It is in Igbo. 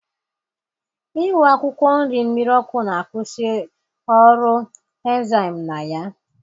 Iwu akwụkwọ nri mmiri ọkụ na-akwusi ọrụ enzyme na ya